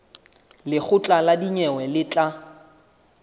lekgotla la dinyewe le tla